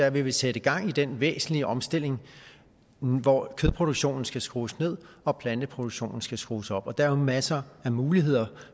at vi vil sætte gang i den væsentlige omstilling hvor kødproduktionen skal skrues ned og planteproduktionen skal skrues op der er jo masser af muligheder